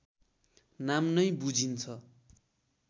नाम नै बुझिन्छ